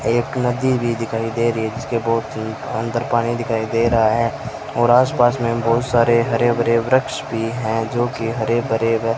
एक नदी भी दिखाई दे री है जिसके बोहोत अन्दर पानी दिखाई दे रहा है और आसपास में बहुत सारे हरे भरे वृक्ष भी है जो कि हरे भरे व --